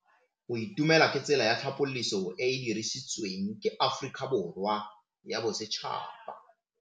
Go itumela ke tsela ya tlhapolisô e e dirisitsweng ke Aforika Borwa ya Bosetšhaba.